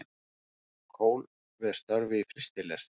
Kól við störf í frystilest